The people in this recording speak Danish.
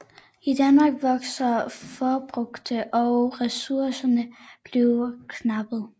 I Danmark vokser forbruget og ressourcerne bliver knappe